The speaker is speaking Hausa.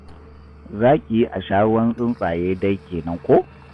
Za ki yi a sha ruwan tsuntsaye dai kenan ko?